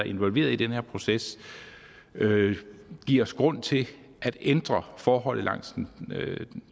involveret i den her proces giver os grund til at ændre forholdet langs den